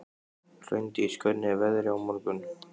Hraundís, hvernig er veðrið á morgun?